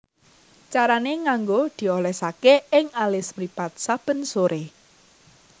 Carané nganggo diolesaké ing alis mripat saben soré